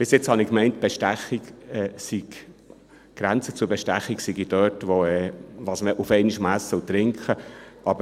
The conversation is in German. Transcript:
Bisher habe ich gemeint, die Grenze zur Bestechung sei das, was man auf einmal essen und trinken kann.